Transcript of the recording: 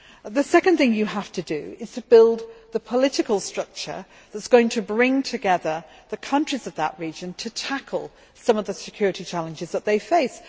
The second thing you have to do is to build the political structure that is going to bring together the countries of that region to tackle some of the security challenges that they face.